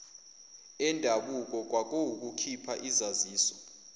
endabuko kwakuwukukhipha izaziso